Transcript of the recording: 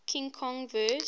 king kong vs